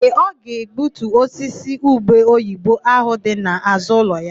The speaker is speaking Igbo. Ee, ọ ga-egbutu osisi ubeoyibo áhụ̀ dị n'àzụ́ ụlọ ya.